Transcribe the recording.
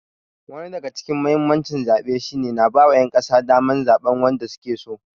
Wani daga cikin muhimmancin zaɓe shi ne na ba wa ƴan ƙasa daman zaɓan wanda suke so.